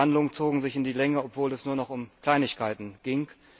Die Verhandlungen zogen sich in die Länge, obwohl es nur noch um Kleinigkeiten ging.